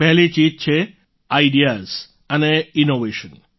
પહેલી ચીજ છે આઈડીયાઝ અને ઈનોવેશન